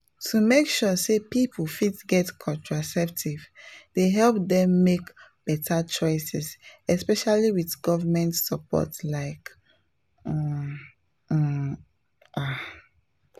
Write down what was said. to make sure say people fit get contraceptives dey help them make better choices especially with government support like um um ah.